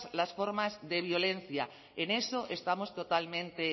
las formas de violencia en eso estamos totalmente